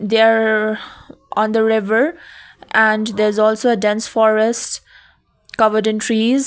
they are on the river and there's also a dense forest covered in trees.